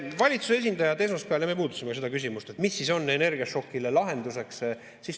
Esmaspäeval me puudutasime valitsuse esindajatega seda küsimust, mis on energiašokile lahenduseks.